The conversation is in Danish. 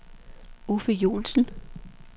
Uffe Johnsen